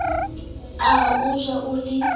ka o ja o le